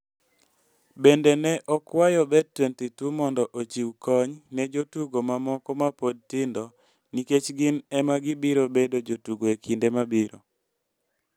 Bende ne okwayo Bet22 mondo ochiw kony ne jotugo mamoko ma pod tindo nikech gin ema gibiro bedo jotugo e kinde mabiro.